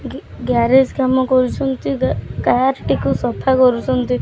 ଗି ଗ୍ୟାରେଜ କାମ କରୁଛନ୍ତି ଗା କାର ଟିକୁ ସଫା କରୁଚନ୍ତି।